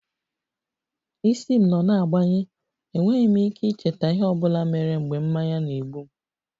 Isi m nọ na-agbanye, enweghị m ike icheta ihe ọ bụla mere mgbe mmanya na-egbu m